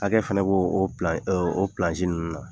Hakɛ fɛnɛ b'o o ɛ o pilansi ninnu na.